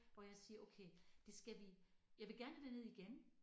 Hvor jeg siger okay det skal vi jeg vil gerne derned igen